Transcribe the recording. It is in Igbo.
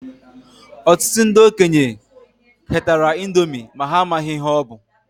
Ọtụtụ ndị okenye ketara índomi ma ha amaghị ihe ọ bu.